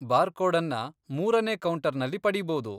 ಬಾರ್ಕೋಡನ್ನ ಮೂರನೇ ಕೌಂಟರ್ನಲ್ಲಿ ಪಡೀಬೋದು.